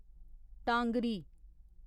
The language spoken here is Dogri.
टांगरी